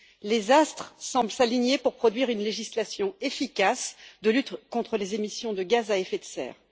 Les astres semblent s'aligner pour produire une législation efficace de lutte contre les émissions de gaz à effet de serre.